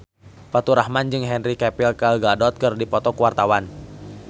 Faturrahman jeung Henry Cavill Gal Gadot keur dipoto ku wartawan